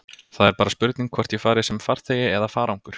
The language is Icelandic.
Það er bara spurning hvort ég fari sem farþegi eða farangur.